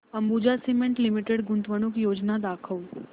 Ambuja Cement Limited गुंतवणूक योजना दाखव